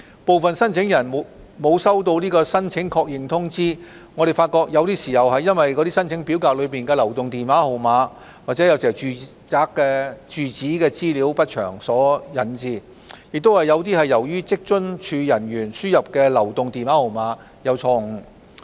部分申請人沒有收到申請確認通知，我們發覺有些是由於申請表格內的流動電話號碼或住址資料不詳所致，也有些是由於職津處人員輸入的流動電話號碼有誤。